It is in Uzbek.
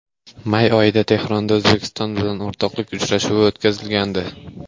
May oyida Tehronda O‘zbekiston bilan o‘rtoqlik uchrashuvi o‘tkazilgandi.